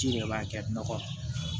Ji de b'a kɛ nɔgɔ